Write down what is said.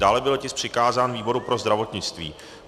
Dále byl tisk přikázán výboru pro zdravotnictví.